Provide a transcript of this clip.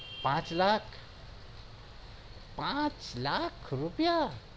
પાંચ લાખ પાંચ લાખ રૂપિયા